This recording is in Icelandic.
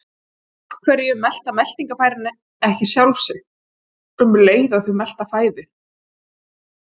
Af hverju melta meltingarfærin ekki sjálf sig um leið og þau melta fæðu?